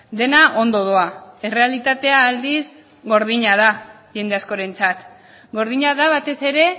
dena ondo doa errealitatea aldiz gordina da jende askorentzat gordina da batez ere